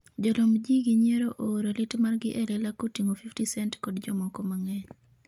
jolomb ji gi nyierogo ooro lit margi e lela koting'o fifty cent kod jomoko mang'eny